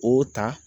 O ta